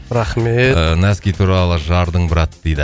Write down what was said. рахмет ііі носки туралы жардың брат дейді